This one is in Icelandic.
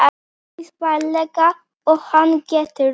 Eins varlega og hann getur.